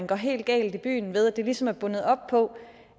går helt galt i byen ved at det ligesom er bundet op på